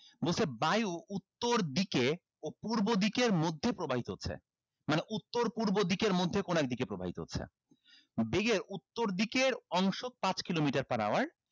বলছে বায়ু উত্তর দিকে ও পূর্ব দিকের মধ্যে প্রবাহিত হচ্ছে মানে উত্তর পূর্ব দিকের মধ্যে কোনো এক দিকে প্রবাহিত হচ্ছে বেগের উত্তর দিকের অংশ পাঁচ kilometer per hour